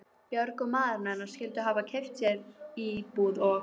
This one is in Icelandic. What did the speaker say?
Björg og maðurinn hennar skyldu hafa keypt sér íbúð og